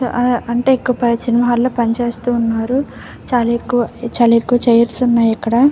అంటే ఇక పై సినిమా ల్లో పని చేస్తూ ఉన్నారు. చాలా ఎక్కువ చాలా ఎక్కువ చైర్స్ ఉన్నాయి ఇక్కడ.